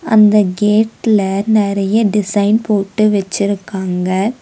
அந்த கேட்ல நெறைய டிசைன் போட்டு வெச்சுருக்காங்க.